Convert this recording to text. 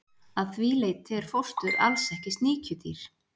Að því leyti er fóstur alls ekki sníkjudýr.